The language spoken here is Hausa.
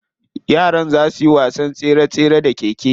Yaran za suyi wasan tsere tsere da keke.